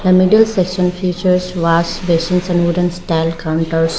a middle session features wash basins and wooden style counters.